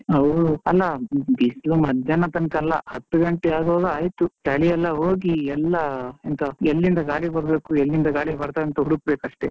ಹೂ ಅಲ್ಲ, ಬಿಸ್ಲು ಮಧ್ಯಾಹ್ನ ತನಕ ಅಲ್ಲಾ ಹತ್ತು ಗಂಟೆ ಆಗುವಾಗ ಆಯ್ತು ಚಳಿಯಲ್ಲ ಹೋಗಿ ಎಲ್ಲಾ ಎಂತ ಎಲ್ಲಿಂದ ಗಾಳಿ ಬರ್ಬೇಕು ಎಲ್ಲಿಂದ ಗಾಳಿ ಬರುತ್ತದೆ ಅಂತ ಹುಡುಕ್ಕ್ಬೇಕು ಅಷ್ಟೇ.